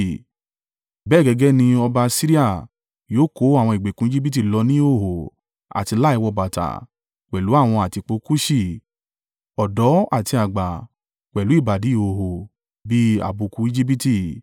bẹ́ẹ̀ gẹ́gẹ́ ni ọba Asiria yóò kó àwọn ìgbèkùn Ejibiti lọ ní ìhòhò àti láì wọ bàtà pẹ̀lú àwọn àtìpó Kuṣi, ọ̀dọ́ àti àgbà, pẹ̀lú ìbàdí ìhòhò—bí àbùkù Ejibiti.